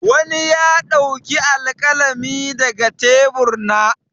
Wani ya ɗauki alƙalami daga tebur na.